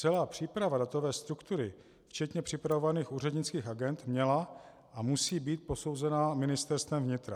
Celá příprava datové struktury včetně připravovaných úřednických agend měla a musí být posouzena Ministerstvem vnitra.